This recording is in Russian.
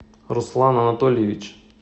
руслан анатольевич